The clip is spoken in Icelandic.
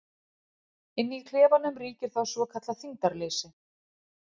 Inni í klefanum ríkir þá svokallað þyngdarleysi.